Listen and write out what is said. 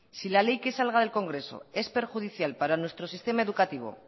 si la ley que salga del congreso es perjudicial para nuestro sistema educativo